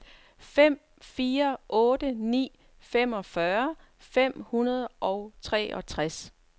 fem fire otte ni femogfyrre fem hundrede og treogtres